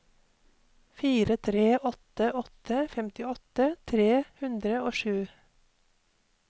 fire tre åtte åtte femtiåtte tre hundre og sju